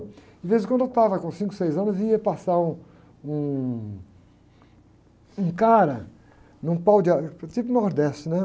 De vez em quando eu estava com cinco, seis anos e ia passar um, um cara num pau de, tipo nordeste, né?